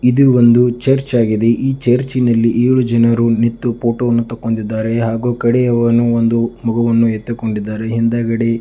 ಇದು ಒಂದು ಚರ್ಚ್ ಆಗಿದೆ ಈ ಚರ್ಚ್ನಲ್ಲಿ ಏಳು ಜನರು ನಿಂತು ಫೋಟೋವನ್ನು ತೆಕ್ಕೊಂಡಿದ್ದಾರೆ ಹಾಗೂ ಕಡೆಯವನು ಒಂದು ಮಗುವನ್ನು ಎತ್ತುಕೊಂಡಿದ್ದಾರೆ ಹಿಂದಗಡೆ--